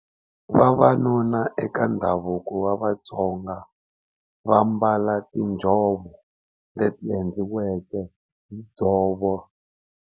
Vavanuna eka ndhavuko wa Vatsonga va mbala tinjhovo leti endliweke hi dzovo.